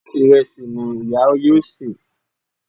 Ìrẹsì ni ìyá yóò sè